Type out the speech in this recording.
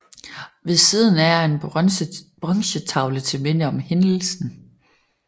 Ved siden af er en bronzetavle til minde om hændelsen